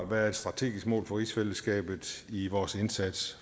være et strategisk mål for rigsfællesskabet i vores indsats